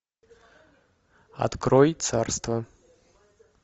открой царство